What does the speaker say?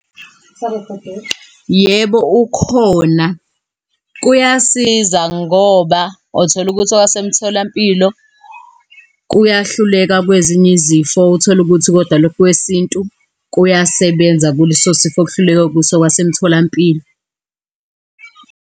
Yebo, ukhona. Kuyasiza ngoba utholukuthi owasemtholampilo kuyahluleka kwezinye izifo. Utholukuthi kodwa lokhu kwesintu kuyasebenza kuleso sifo, okuhluleke kuso okwasemtholampilo.